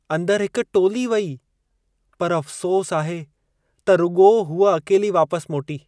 अंदर हिक टोली वई, पर अफ़्सोस आहे त रुॻो हूअ अकेली वापसि मोटी।